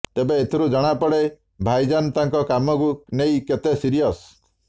ତେବେ ଏଥିରୁ ଜଣା ପଡେ ଭାଇଜାନ ତାଙ୍କ କାମକୁ ନେଇ କେତେ ସିରିୟସ୍